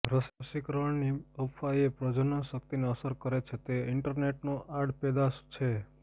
રસીકરણની અફવા એ પ્રજનન શક્તિને અસર કરે છે તે ઇન્ટરનેટનો આડપેદાશ છે